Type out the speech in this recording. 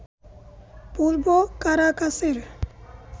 পূর্ব কারাকাসের